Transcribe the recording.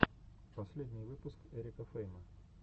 последний выпуск эрика фейма